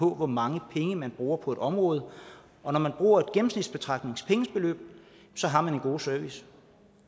hvor mange penge man bruger på et område og når man bruger et gennemsnitsbetragtning har man en god service